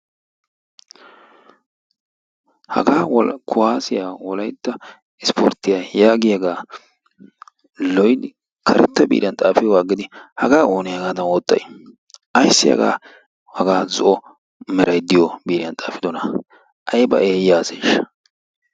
Hagaa kuwaaziya wolaytta ispporttiya yaagiyagaa loyttidi karetta biiriyan xaafiyoogaa aggidi hagaa oonee hagaadan oottayi? Ayissi hagaa hagaa zo'o merayi mreayi diyo biiriyan xaafidonaa. Ayiba eeyya aseeshsha.